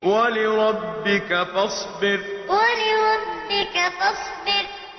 وَلِرَبِّكَ فَاصْبِرْ وَلِرَبِّكَ فَاصْبِرْ